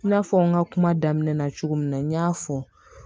I n'a fɔ n ka kuma daminɛ na cogo min na n y'a fɔ